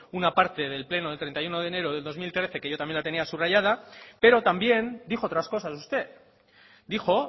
una parte del pleno del treinta y uno de enero del dos mil trece que yo también la tenía subrayada pero también dijo otras cosas usted dijo